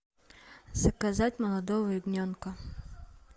заказать молодого ягненка